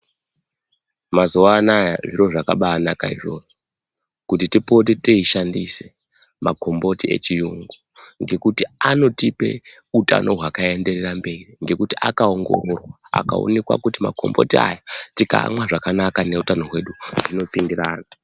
Mazuvaanaya zviro zvabanaka shuwa kuti tipote tiyishandise magomboti echiyungu nekuti anotipe hutano hwakaenderera mberi ngekuti akawongororwa, akawonekwa kuti magomboti aya tikaamwa zvakanaka nehutano hwedu hunopindirana.